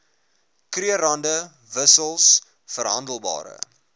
krugerrande wissels verhandelbare